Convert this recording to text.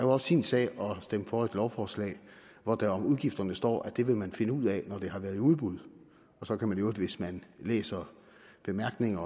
også sin sag at stemme for et lovforslag hvor der om udgifterne står at det vil man finde ud af når det har været i udbud og så kan man i øvrigt hvis man læser bemærkningerne